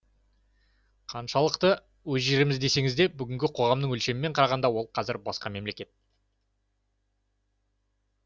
қаншалықты өз жеріміз десеңіз де бүгінгі қоғамның өлшемімен қарағанда ол қазір басқа мемлекет